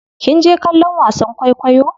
Kinje kallon wasan kwaikwayo?